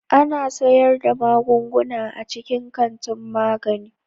Ana sayar da magunguna a cikin kantin magani.